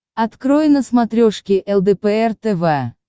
открой на смотрешке лдпр тв